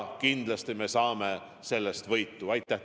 Ka Riigikogu poolt valitsusele palju edu ja jõudu ja ilusat jõuluaega!